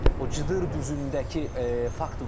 O Cıdır düzündəki fakt var.